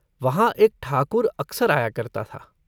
वहाँ एक ठाकुर अकसर आया करता था।